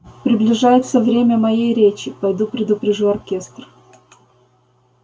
приближается время моей речи пойду предупрежу оркестр